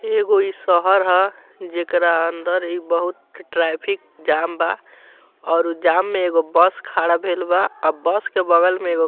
एगो इ शहर ह जेकरा अंदर इ बहुत ट्रैफिक जाम बा और जाम में एगो बस खड़ा भेएल बा आ बस के बगल में एगो --